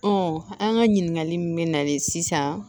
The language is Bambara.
an ka ɲininkali min bɛ nalen sisan